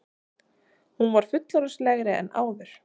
Hún var fullorðinslegri en áður.